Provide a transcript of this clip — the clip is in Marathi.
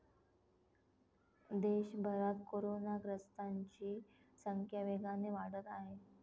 देशभरात कोरोनाग्रस्तांची संख्या वेगाने वाढत आहे.